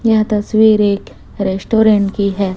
यह तस्वीर एक रेस्टोरेंट की है।